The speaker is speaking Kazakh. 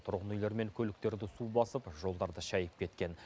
тұрғын үйлер мен көліктерді су басып жолдарды шайып кеткен